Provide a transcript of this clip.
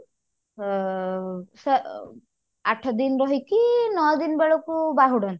ଅ ସ୍ଵ ଆଠ ଦିନ ରହିକି ନଅ ଦିନ ବେଳକୁ ବାହୁଡନ୍ତି